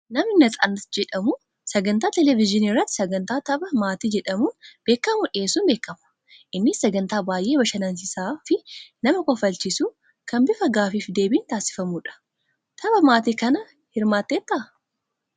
Namni Natsaannat jedhamu sagantaa televezyiinii irratti sagantaa tapha maatii jedhamuun beekamu dhiyeessuun beekama. Innis sagantaa baay'ee bashannansiisaa fi nama kofalchiisuu kan bifa gaaffii fi deebiin taasifamudha. Tapha maatii kana hirmaatteettaa?